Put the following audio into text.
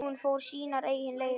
Hún fór sínar eigin leiðir.